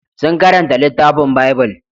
Sun karanta littafin Bible.